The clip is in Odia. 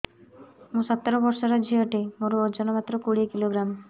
ମୁଁ ସତର ବର୍ଷ ଝିଅ ଟେ ମୋର ଓଜନ ମାତ୍ର କୋଡ଼ିଏ କିଲୋଗ୍ରାମ